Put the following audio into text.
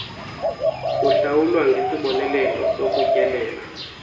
kuhlawulwa ngesibonelelo sokutyelela